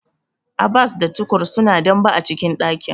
Abbas da Tukur suna dambe a cikin dakin.